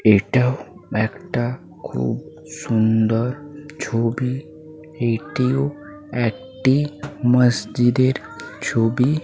এটাও একটা খুব সুন্দর ছবি এটিও একটি মসজিদের ছবি--